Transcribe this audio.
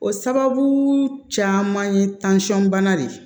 O sababu caman ye bana de ye